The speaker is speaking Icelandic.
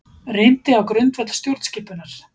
Reyndi á grundvöll stjórnskipunar